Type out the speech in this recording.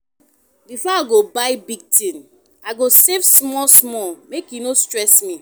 Before I buy big thing, I go save small small make e no stress me.